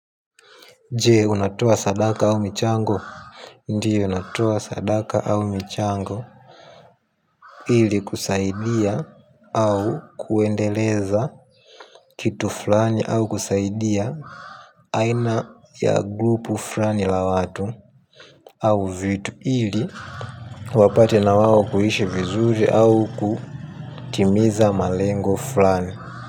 Je, unatoa sadaka au michango? Ndiyo, natoa sadaka au michango. Ili kusaidia au kuendeleza kitu fulani au kusaidia aina ya "grupu" fulani la watu au vitu ili wapate na wao kuishi vizuri au kutimiza malengo fulani.